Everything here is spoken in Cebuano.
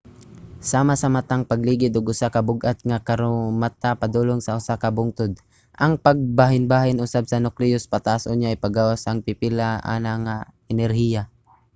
sama sa matang sa pagligid og usa ka bug-at nga karomata padulong sa usa ka bungtod. ang pagbahinbahin usab sa nukleus pataas unya ipagawas ang pipila ana nga enerhiya